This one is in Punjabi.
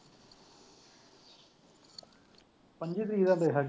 ਪੱਚੀ ਤਰੀਕ ਦਾ ਮੇਰੇ ਖਿਆਲ ਚ।